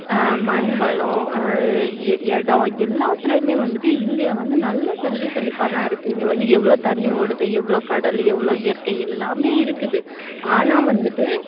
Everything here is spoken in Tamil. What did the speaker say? அஹ் மண் வளம் அஹ் இ~ இடம் எல்லாத்துலயுமே வந்துட்டு இந்தியா வந்து நல்ல செல்வ செழிப்பா தான் இருக்கு இங்க வந்து எவ்ளோ தண்ணி ஓடுது எவ்ளோ கடலு எவ்ளோ இயற்கை எல்லாமே இருக்குது ஆனா வந்துட்டு